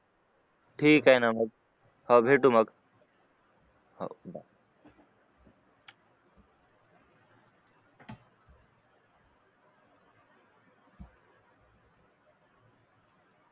ठीक आहे ना मग हाव भेटू मग